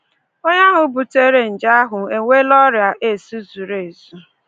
Onye ahụ butere nje ahụ enweela ọrịa AIDS zuru ezu